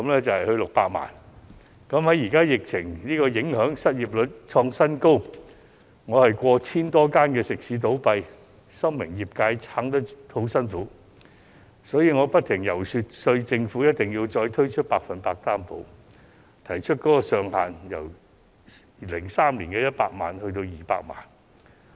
在目前疫情影響下，失業率創新高，我眼看過千間食肆倒閉，深明業界難以支撐，所以不停遊說政府再次推出"百分百擔保"，並建議把上限由2003年的100萬元調高至200萬元。